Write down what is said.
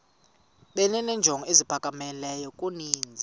benenjongo eziphakamileyo kunezi